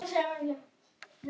Fólkið var alltaf að flytja.